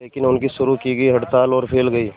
लेकिन उनकी शुरू की गई हड़ताल और फैल गई